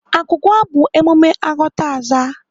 Agwụgwa bụ emume aghọtaaza.